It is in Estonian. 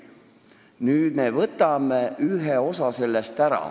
Nüüd me võtame sellest ühe osa ära.